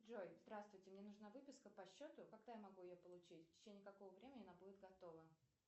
джой здравствуйте мне нужна выписка по счету когда я могу ее получить в течение какого времени она будет готова